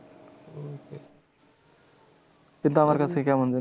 কিন্তু আমার কাছে কেমন যেন